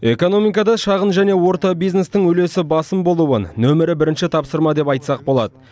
экономикада шағын және орта бизнестің үлесі басым болуын нөмірі бірінші тапсырма деп айтсақ болады